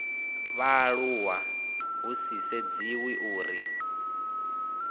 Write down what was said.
vhaaluwa hu sa sedziwi uri